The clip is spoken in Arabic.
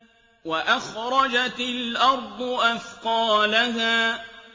وَأَخْرَجَتِ الْأَرْضُ أَثْقَالَهَا